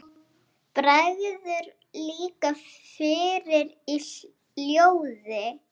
Bregður líka fyrir í ljóði.